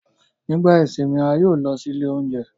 Nigba isinmi, a yoo lọ si ile ounjẹ